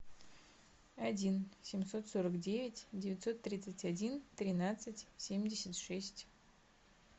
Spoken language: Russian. один семьсот сорок девять девятьсот тридцать один тринадцать семьдесят шесть